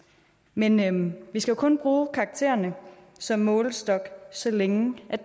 men vi skal jo kun bruge karaktererne som målestok så længe de er